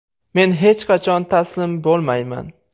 Men hech qachon taslim bo‘lmayman.